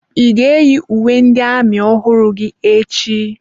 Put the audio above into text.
Ị ga-eyi uwe ndị amị ọhụrụ gị echi?